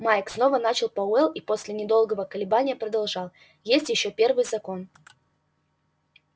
майк снова начал пауэлл и после недолго колебания продолжал есть ещё первый закон